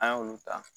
An y'olu ta